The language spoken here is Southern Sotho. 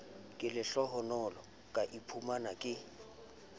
ka lehlohonolo ka iphumana ke